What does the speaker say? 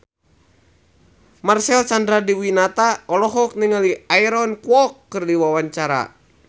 Marcel Chandrawinata olohok ningali Aaron Kwok keur diwawancara